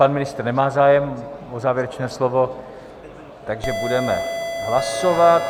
Pan ministr nemá zájem o závěrečné slovo, takže budeme hlasovat.